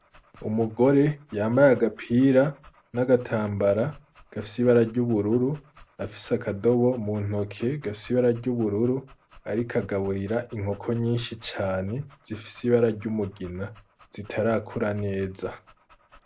Umugore yambaye agapira n'agatambara gafise ibara ry'ubururu, afise akadobo mu ntoke gafise ibara ry'ubururu, ariko agaburira inkoko nyinshi cane, zifise ibara ry'umugina zitarakura neza.